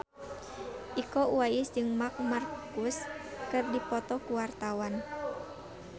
Iko Uwais jeung Marc Marquez keur dipoto ku wartawan